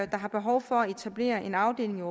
der har behov for at etablere en afdeling